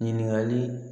Ɲininkali